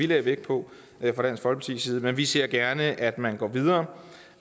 lægger vægt på men vi ser gerne at man går videre